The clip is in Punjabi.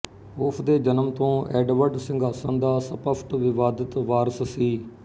ਉਸ ਦੇ ਜਨਮ ਤੋਂ ਐਡਵਰਡ ਸਿੰਘਾਸਣ ਦਾ ਸਪੱਸ਼ਟ ਵਿਵਾਦਤ ਵਾਰਸ ਸੀ